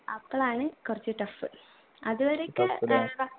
അപ്പളാണ് കുറച്ച് tough അതുവരെയൊക്കെ ഏർ